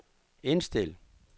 indstil